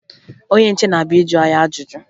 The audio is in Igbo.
Onye nche na-abịa ịjụ anyị ajụjụ